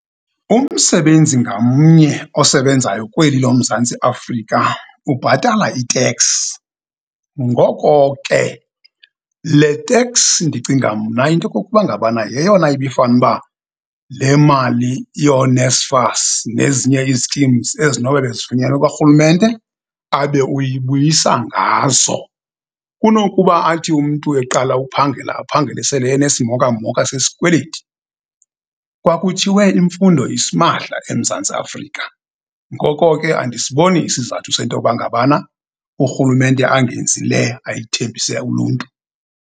Umsebenzi ngamnye osebenzayo kweli loMzantsi Afrika ubhatala iteksi. Ngoko ke, le teksi ndicinga mna into yokokuba ngabana yeyona ibifane uba le mali yooNSFAS nezinye ii-schemes ezinobe bezifunyenwe kwarhulumente, abe uyibuyisa ngazo, kunokuba athi umntu eqala uphangela, aphangele sele enesimokamoka sesikweleti. Kwakuthiwe imfundo isimahla eMzantsi Afrika, ngoko ke andisiboni isizathu sento uba ngabana urhulumente angenzi le ayithembise uluntu.